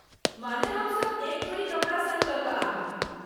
माने ,हमसब एक जोड़ी कपड़ा सङ्ग लऽ कऽ आबी ।